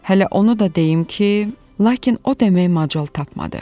Hələ onu da deyim ki, lakin o deməyə macal tapmadı.